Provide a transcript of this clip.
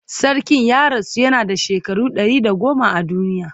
Sarkin ya rasu yana da shekaru 110 a duniya